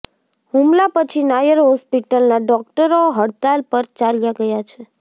હુમલા પછી નાયર હોસ્પિટલના ડોકટરો હડતાળ પર ચાલ્યા ગયા છે